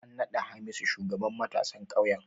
An naɗa Hamisu shugaban matasan ƙauyen.